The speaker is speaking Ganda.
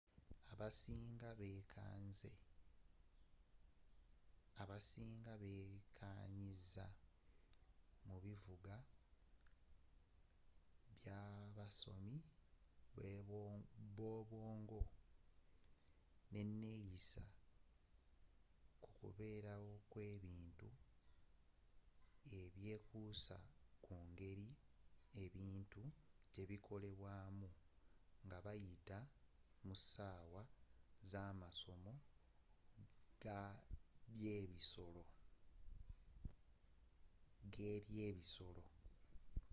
abasiinga beekanyiza mu bivuga byabasomi bwobwongo neneeyisa kukubeerawo kwebintu ebyekuusa ku ngeri ebintu gyebikolebwamu ngabayita mu ssaawa zamasomo gebyebisolo